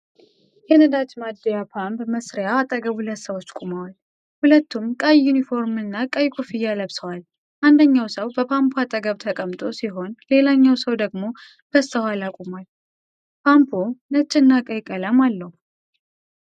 የነዳጅ ማደያ ፓምፕ መሳሪያ አጠገብ ሁለት ሰዎች ቆመዋል። ሁለቱም ቀይ ዩኒፎርምና ቀይ ኮፍያ ለብሰዋል። አንደኛው ሰው በፓምፑ አጠገብ ተቀምጦ ሲሆን ሌላኛው ሰው ደግሞ በስተኋላ ቆሟል። ፓምፑ ነጭና ቀይ ቀለም አለው።